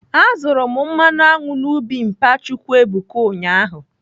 Azụrụ m mmanụ aṅụ na ubi mpa Chukwuebuka ụnyaahụ.